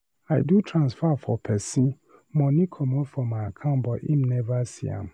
I do transfer for person, money comot for my account but him never see am.